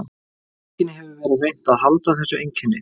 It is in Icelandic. Í bókinni hefur verið reynt að halda þessu einkenni.